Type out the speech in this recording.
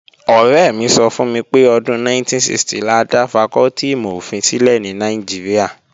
Ọ̀rẹ́ mi sọ fún mi pé ọdún 1960 la dá fakọ́tì ìmọ̀-ofin sílẹ̀ ní Nàìjíríà